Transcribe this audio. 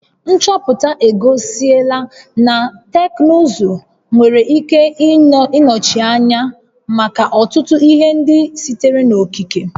Nchọpụta egosila na teknụzụ nwere ike inye ihe nnọchiteanya maka ọtụtụ ihe ndị sitere n'okike